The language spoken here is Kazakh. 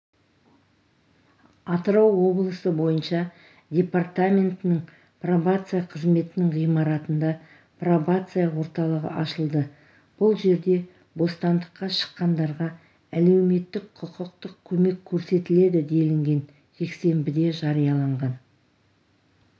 атырау облысы бойынша департаментінің пробация қызметінің ғимаратында пробация орталығы ашылды бұл жерде бостандыққа шыққандарға әлеуметтік-құқықтық көмек көрсетіледі делінген жексенбіде жарияланған